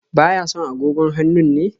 Ba ya son agogon hannun ne?